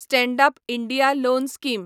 stand up India loan scheme